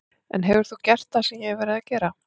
En hefur þú gert það sem ég hef verið að gera?